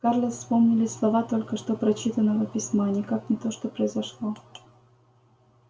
скарлетт вспомнились слова только что прочитанного письма никак не то что произошло